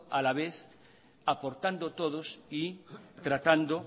a la vez aportando todos y tratando